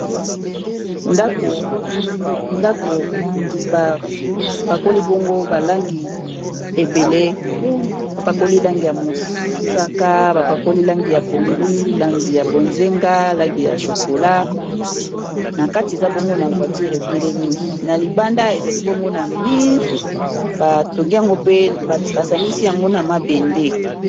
ndako bapakoli bongo balangi ebele bapakoli langi ya mosaka bapakoli langi ya pondu langi ya bozenga langi ya chokola na kati eza bongo na voiture etelemi na libanda ezali bongo na mur, batongi yango pe basangisi yango na mabende